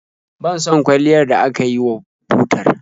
Ban son kwalliyar da aka yi wa butar.